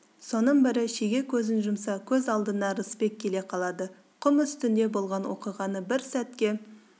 соның бірі шеге көзін жұмса көз алдына рысбек келе қалады құм үстінде болған оқиғаны бір сәтке